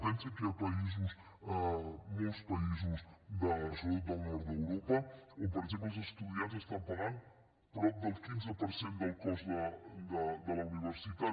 pensin que hi ha països molts països sobretot del nord d’europa on per exemple els estudiants estan pagant prop del quinze per cent del cost de la universitat